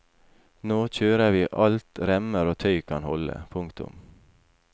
Nå kjører vi alt remmer og tøy kan holde. punktum